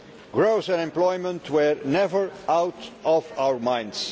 Growth and employment were never out of our minds.